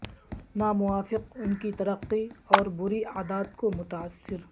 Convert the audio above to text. ناموافق ان کی ترقی اور بری عادات کو متاثر